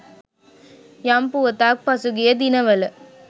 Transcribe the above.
යම් පුවතක් පසුගිය දිනවල